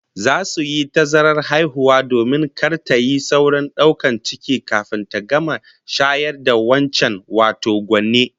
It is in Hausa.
Za su yi tazarar haihuwa domin kar tayi saurin daukar ciki kafin ta gama shayar da wancan, wato gwanne